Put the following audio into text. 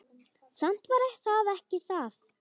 Samt var það ekki það.